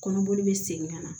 Kɔnɔboli bɛ segin ka na